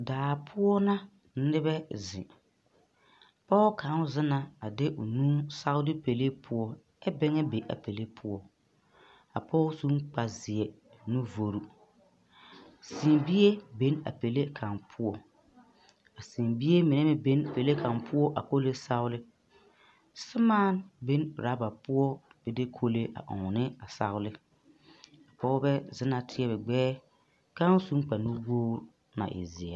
Daa poɔ na nebɛ zeŋ pɔge kaŋa zeŋ na a de o nu sagle pɛle poɔ ɛ bɛŋa be a pɛle poɔ a pɔge su kpare ziɛ nu vɔre seebie be a pɛle kaŋ poɔ seebie meŋ be a pɛle kaŋ poɔ a kɔle sagle semaa be rubber poɔ ba de kɔgle ɔŋ ne a sagle pɔgebɛ zeŋ na teɛ ba gbeɛ ka su kpare nu wogre na e ziɛ.